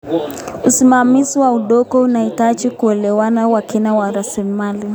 Usimamizi wa udongo unahitaji uelewa wa kina wa rasilimali.